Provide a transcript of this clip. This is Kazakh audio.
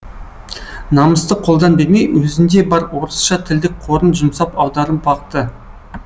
намысты қолдан бермей өзінде бар орысша тілдік қорын жұмсап аударып бақты